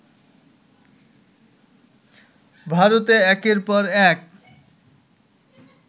ভারতে একের পর এক